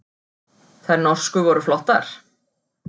Þær norsku voru flottar.